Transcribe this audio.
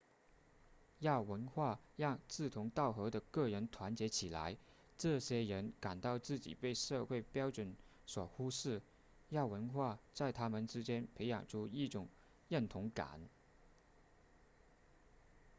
亚文化让志同道合的个人团结起来这些人感到自己被社会标准所忽视亚文化在他们之间培养出一种认同感